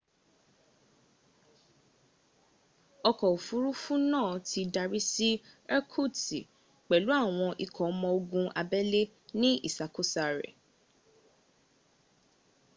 ọkọ̀ òfuruufún náà ti darí si irkutsk pèlú àwọn ikọ ọmọ ogun abélé ni ìsàkósa re